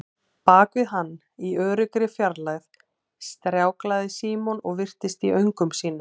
Bak við hann, í öruggri fjarlægð, stjáklaði Símon og virtist í öngum sínum.